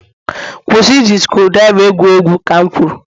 kwụsị iji screwdriver egwu egwu. Ka m kwuru